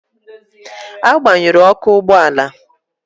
Agbanyụrụ Ọkụ ụgbọ ala